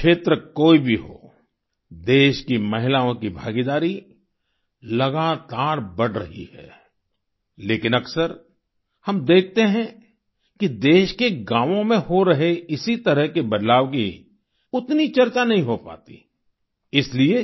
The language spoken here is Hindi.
क्षेत्र कोई भी हो देश की महिलाओं की भागीदारी लगातार बढ़ रही है लेकिन अक्सर हम देखते हैं कि देश के गाँवों में हो रहे इसी तरह के बदलाव की उतनी चर्चा नहीं हो पाती इसलिए